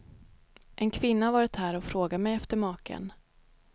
En kvinna har varit här och frågat mig efter maken.